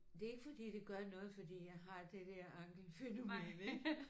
Det er ikke fordi det gør noget fordi jeg har det der ankelfænomen ikk